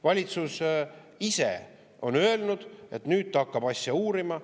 Valitsus ise on öelnud, et nüüd ta hakkab asja uurima.